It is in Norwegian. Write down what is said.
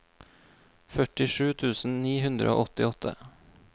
førtisju tusen ni hundre og åttiåtte